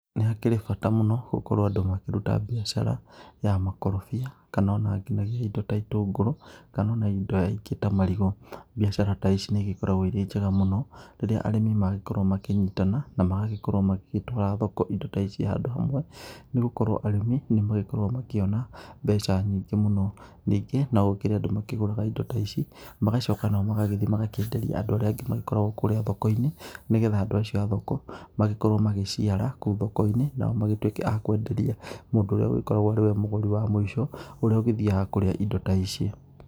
Nĩ hakĩrĩ bata mũno gũkorwo andũ makĩruta mbiacara ya makorobia kana ona nginyagia indo ta itũngũro kana ona indo ingĩ ta marigũ. Mbiacara ta ici nĩ igĩkoragwo ĩrĩ njega mũno rĩrĩa arĩmi magĩkorwo makĩnyitana na magagĩkorwo magĩgĩtwara thoko indo ta ici handũ hamwe nĩ gũkorwo arĩmi nĩ magĩkoragwo makĩona mbeca nyingĩ mũno. Ningĩ no gũkirĩ andũ makĩgũraga indo ta ici magagĩcoka nao magathiĩ magakĩenderia andũ arĩa angĩ magĩkoragwo kũrĩa thoko-inĩ nĩgetha andũ acio a thoko magĩorwo magĩciara nakũu thoko-inĩ nao magĩtuĩke a kwenderia mũndũ ũrĩa ũgĩkoragwo nĩwe mũgũrĩ wa mũico ũrĩa ũgĩthiaga kũria indo ta ici.